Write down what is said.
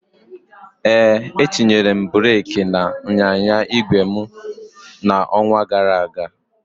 Ee, etinyere m breeki n'ịnyịnya igwe m n'ọnwa gara aga